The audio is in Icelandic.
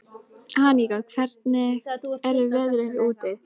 Aníka, hvernig er veðrið úti?